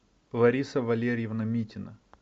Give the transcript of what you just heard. лариса валерьевна митина